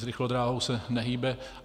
S rychlodráhou se nehýbe.